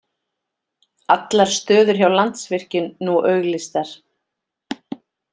Allar stöður hjá Landsvirkjun nú auglýstar